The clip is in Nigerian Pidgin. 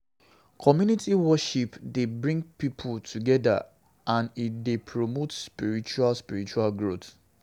Community worship dey bring pipo together, and e dey promote spiritual spiritual growth.